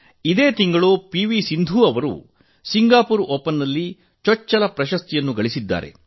ಇದೇ ತಿಂಗಳು ಪಿವಿ ಸಿಂಧು ಅವರು ಸಿಂಗಾಪೂರ್ ಓಪನ್ ನಲ್ಲಿ ಚೊಚ್ಚಲ ಪ್ರಶಸ್ತಿಗಳಿಸಿದ್ದಾರೆ